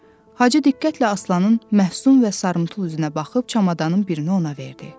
Hacı diqqətlə Aslanın məhsun və sarımtul üzünə baxıb çamadanın birini ona verdi.